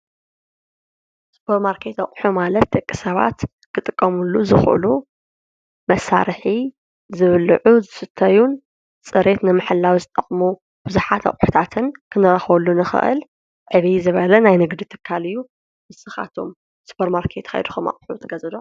ሱፐርማርኬት ኣቑሑ ማለት ደቂ ሰባት ክጥቀሙሉ ዝኽእሉ መሳርሒ ዝብልዑ፣ ዝስትዩ፣ ፅሬት ንምሕላው ዝጠቕሙ ብዙሓት ኣቑሑታትን ክንረኽበሉ ንኽእል ዕብይ ዝበለ ናይ ንግዲ ትካል እዩ፡፡ ንስኻትኩም ሱፐርማርኬት ከይድኩም ኣቑሑት ትገዝኡ ዶ?